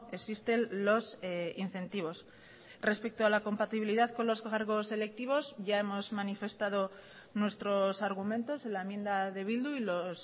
existen los incentivos respecto a la compatibilidad con los cargos selectivos ya hemos manifestado nuestros argumentos en la enmienda de bildu y los